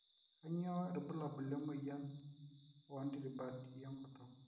kanyio irbulabul le moyian oo nirbati enkutuk